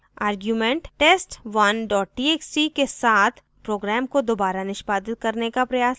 argument test1 txt के साथ program को दोबारा निष्पादित करने का प्रयास करें